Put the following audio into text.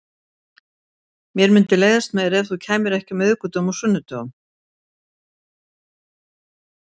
Mér mundi leiðast meira ef þú kæmir ekki á miðvikudögum og sunnudögum.